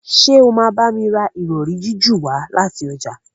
Ṣe o ma bámi rà Ìrọ̀rí jiju wá láti ọjà?